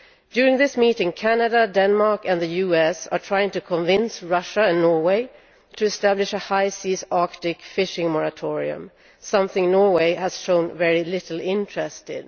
During this meeting Canada, Denmark and the US are trying to convince Russia and Norway to establish a high seas Arctic fishing moratorium, something Norway has shown very little interest in.